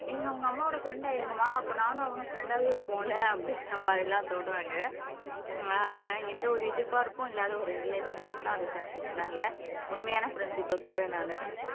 நீங்க உங்க அம்மாவோட ஃப்ரண்டா இருங்கம்மா அப்ப நானும் ஃப்ரண்டாவே இருப்போம் இல்ல அப்படிங்குற மாறி எல்லாம் சொல்றாங்க ஆனா எந்த ஒரு எதிர்பார்ப்பும் இல்லாத ஒரு ரிலேஷன்ஷிப்னா அது ஃப்ரண்ட்ஷிப் தான்ல உண்மையான ஃப்ரண்ட்ஷிப்பை சொல்றேன் நானு